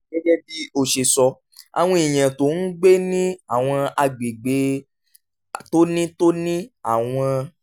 gẹ́gẹ́ bí ó ṣe sọ àwọn èèyàn tó ń gbé ní àwọn àgbègbè tó ní tó ní àwọn